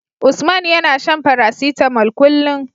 Usman yAna shan paracetamol kullun